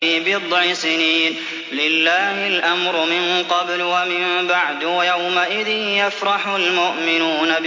فِي بِضْعِ سِنِينَ ۗ لِلَّهِ الْأَمْرُ مِن قَبْلُ وَمِن بَعْدُ ۚ وَيَوْمَئِذٍ يَفْرَحُ الْمُؤْمِنُونَ